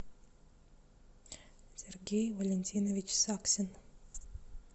сергей валентинович саксин